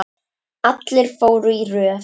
Allir fóru í röð.